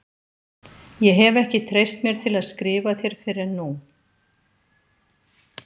Ég hef ekki treyst mér til að skrifa þér fyrr en nú.